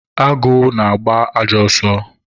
agụ na-agba ajọ ọsọ